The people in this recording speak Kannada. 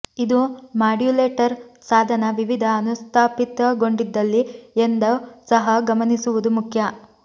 ಇದು ಮಾಡ್ಯುಲೇಟರ್ ಸಾಧನ ವಿವಿಧ ಅನುಸ್ಥಾಪಿತಗೊಂಡಿದ್ದಲ್ಲಿ ಎಂದು ಸಹ ಗಮನಿಸುವುದು ಮುಖ್ಯ